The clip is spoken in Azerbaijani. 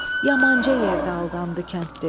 Yamanca yerdə aldandı kəndli.